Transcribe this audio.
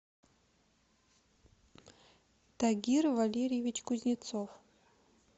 тагир валерьевич кузнецов